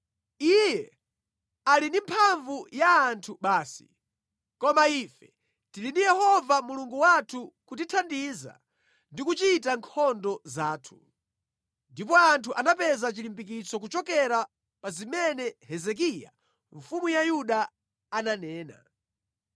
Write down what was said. Iye ali ndi mphamvu ya anthu basi, koma ife tili ndi Yehova Mulungu wathu kutithandiza ndi kuchita nkhondo zathu.” Ndipo anthu anapeza chilimbikitso kuchokera pa zimene Hezekiya mfumu ya Yuda ananena.